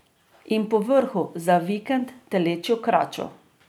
In povrhu, za vikend, telečjo kračo.